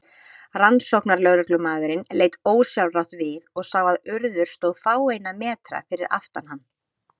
Rannsóknarlögreglumaðurinn leit ósjálfrátt við og sá að Urður stóð fáeina metra fyrir aftan hann.